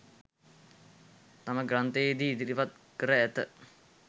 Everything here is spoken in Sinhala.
තම ග්‍රන්ථයේ දී ඉදිරිපත් කර ඇත.